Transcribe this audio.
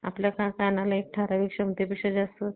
आपल्या कानाला एक ठराविक क्षमते पेक्षा जास्त